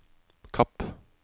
Kapp